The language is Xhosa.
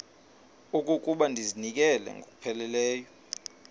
okokuba ndizinikele ngokupheleleyo